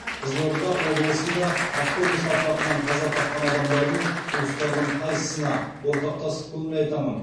қызылорда облысында автобус апатынан қаза тапқан адамдардың